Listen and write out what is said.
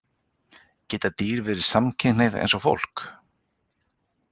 Geta dýr verið samkynhneigð, eins og fólk?